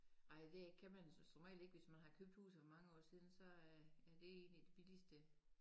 Ej det kan man som regel ikke hvis man har købt huset for mange år siden så er er det en af de billigste